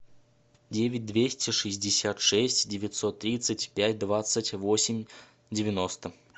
девять двести шестьдесят шесть девятьсот тридцать пять двадцать восемь девяносто